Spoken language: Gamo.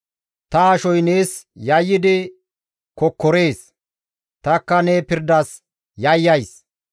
Ta ashoy nees yayyidi kokkorees; takka ne pirdas yayyays.